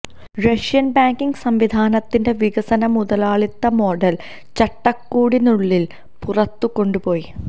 Russian banking സംവിധാനത്തിന്റെ വികസന മുതലാളിത്ത മോഡൽ ചട്ടക്കൂടിനുള്ളിൽ പുറത്തു കൊണ്ടുപോയി